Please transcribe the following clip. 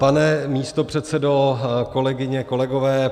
Pane místopředsedo, kolegyně, kolegové.